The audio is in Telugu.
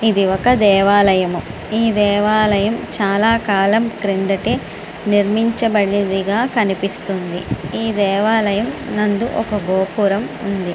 ఇది ఒక దేవాలయం. ఈ దేవాలయము చాలా కాలం క్రితం నిర్మించబడినదిగా కనిపిస్తుంది. ఈ దేవాలయం నందు ఒక గోపురం ఉంది.